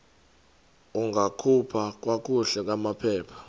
ungakhupha kakuhle amaphepha